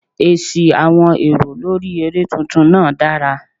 Èsì àwọn èrò lórí eré tuntun náà dára.